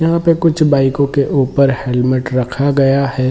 यहां पर कुछ बाइको के ऊपर हेल्मेट रखा गया है।